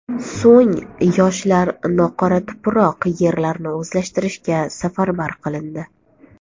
So‘ng yoshlar noqoratuproq yerlarni o‘zlashtirishga safarbar qilindi.